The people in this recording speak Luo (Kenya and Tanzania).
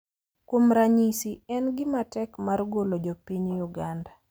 Kuom ranyisi, en gima tek mar golo jo piny Uganda